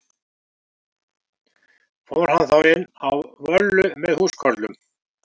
Fór hann þá inn á Völlu með húskörlum.